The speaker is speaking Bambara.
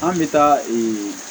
An bɛ taa